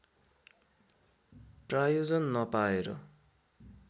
प्रायोजन नपाएर